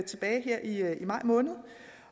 maj måned